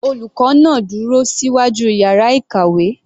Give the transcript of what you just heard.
Olùkọ́ náà dúró síwájú yàrá ìkàwé.